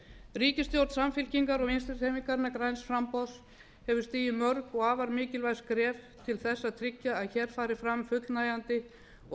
ríkisstjórn samfylkingar og vinstri hreyfingarinnar græns framboðs hefur stigið mörg og afar mikilvæg skref til að tryggja að hér hafi fram fullnægjandi og